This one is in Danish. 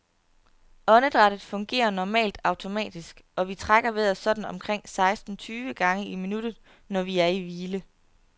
Åndedrættet fungerer normalt automatisk, og vi trækker vejret sådan omkring seksten tyve gange i minuttet, når vi er i hvile.